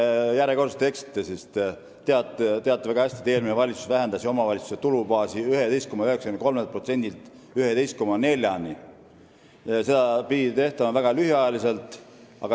Te eksite järjekordselt, sest te teate väga hästi, et eelmine valitsus vähendas omavalitsuste tulubaasi 11,93%-lt 11,4%-ni, mis pidi kehtima väga lühikest aega.